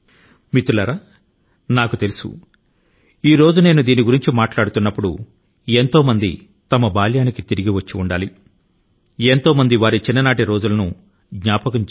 మిత్రులారా ఈ రోజు న నేను ఈ ఆటల ను గురించి చెబుతున్నప్పుడు మీలో చాలా మంది వారి బాల్య స్మృతుల లోకి వెళ్లారని నాకు తెలుసు